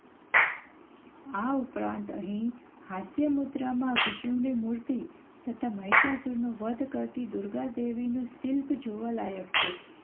આ ઉપરાંત અહીં હાસ્યમુદ્રામાં વિષ્ણુની મૂર્તિ તથા મહિષાસુરનો વધ કરતી દુર્ગા દેવીનું શિલ્પ જોવા લાયક છે.